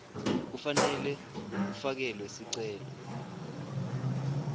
kufanele kufakelwe sicelo